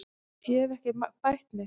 Ég hef ekki bætt mig.